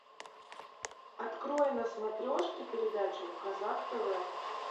открой на смотрешке передачу казак тв